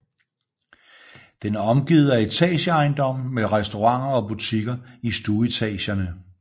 Den er omgivet af etageejendomme med restauranter og butikker i stueetagerne